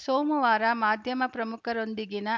ಸೋಮವಾರ ಮಾಧ್ಯಮ ಪ್ರಮುಖರೊಂದಿಗಿನ